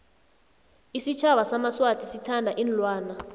isitjhaba samaswati sithanda iinlwana